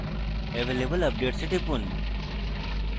available updates এ টিপুন